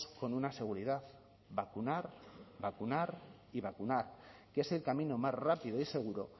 con una seguridad vacunar vacunar y vacunar que es el camino más rápido y seguro